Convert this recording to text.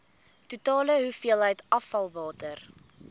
totale hoeveelheid afvalwater